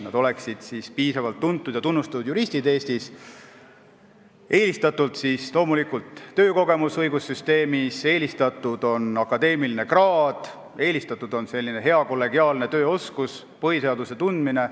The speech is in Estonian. Nad peaksid olema piisavalt tuntud ja tunnustatud juristid Eestis, eelistatud on loomulikult töökogemus õigussüsteemis, samuti akadeemiline kraad, hea kollegiaalne tööoskus ja põhiseaduse tundmine.